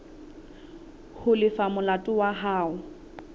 ho lefa molato wa hao